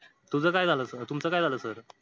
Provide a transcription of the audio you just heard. तुझं काय झालं. तुमचं काय झालं sir